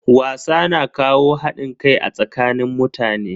Wasa na kawo hadin kai a tsakanin mutane.